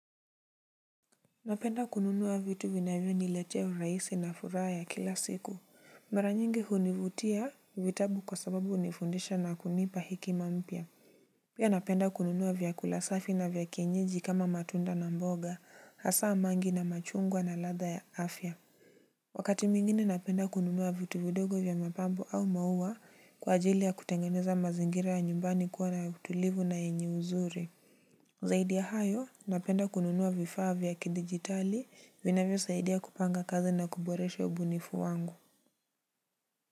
Napenda kununua vitu vinavyoniletea urahisi na furaha ya kila siku. Mara nyingi hunivutia vitabu kwa sababu hunifundisha na kunipa hekima mpya. Pia napenda kununua vyakula safi na vya kienyeji kama matunda na mboga hasaa mangi na machungwa na latha ya afya. Wakati mwingine napenda kununua vitu vidogo vya mapambo au mauwa kwa ajili ya kutengeneza mazingira ya nyumbani kuwa na utulivu na yenye uzuri. Zaidi ya hayo, napenda kununuwa vifaa vya kidigitali, vinavyozaidi kupanga kazi na kuboresha ubunifu wangu.